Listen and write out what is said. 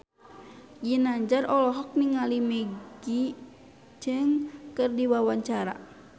Ginanjar olohok ningali Maggie Cheung keur diwawancara